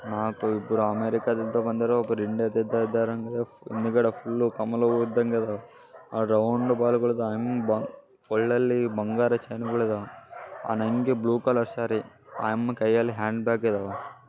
ನಾಕ ಇಬ್ರು ಅಮೇರಿಕಾ ದಿಂದ ಬಂದಿರುವ ಒಬ್ರು ಇಂಡಿಯಾ ದಿಂದ ಇದ್ದಾರೆ ಮುಂದಗಡೆ ಫುಲ್ ಕಮಲ ಹೂವ ಇದ್ದಂಗ ಇದಾವ ಆ ರೌಂಡ್ ಬಾಲ್ ಒಲ್ಲಲ್ಲಿ ಬಂಗಾರ ಚಂಗಳು ಆ ಅಂಗೆ ಬ್ಲೂ ಕಾಲರ್ ಸಾರಿ ಆ ಅಮ್ಮ ಕೈಯಲ್ಲಿ ಹ್ಯಾಂಡ್ ಬ್ಯಾಗ್ ಇದಾವೆ.